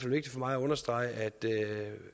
vigtigt for mig at understrege